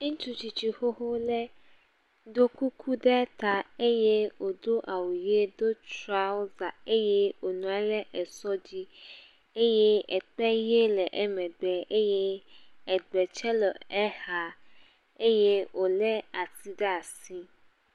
Ŋutsu tsitsi xoxo ɖe ɖo kuku ɖe ta eye wodo awu ʋie, do trɔza eye wonɔ anyi ɖe sɔ dzi eye ekpe ʋie le eƒe megbe eye egbe tse le exa eye wole atsi ɖe asi.